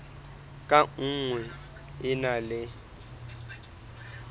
ka nngwe e na le